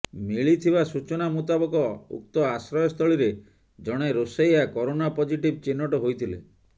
ମିଳିଥିବା ସୂଚନା ମୁତାବକ ଉକ୍ତ ଆଶ୍ରୟସ୍ଥଳୀରେ ଜଣେ ରୋଷେୟା କରୋନା ପଜିଟିଭ୍ ଚିହ୍ନଟ ହୋଇଥିଲେ